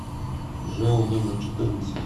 жэу номер четырнадцать